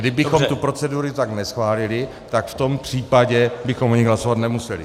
Kdybychom tu proceduru tak neschválili, tak v tom případě bychom o ní hlasovat nemuseli.